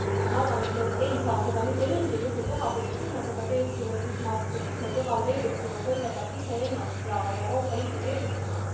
Ma arvan, et me ei saa seda mitte mingil juhul teha, sest kui me seda teeksime, siis me devalveeriksime kõigepealt iseennast ja Euroopa Liitu tervikuna.